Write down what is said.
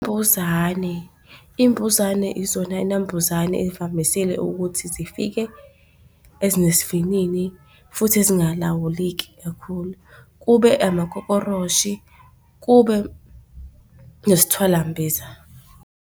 imbuzane izona nambuzane ey'vamisile ukuthi zifike ezinesivinini futhi ezingalawuleki kakhulu. Kube amakokoroshe kube nesithwalambiza.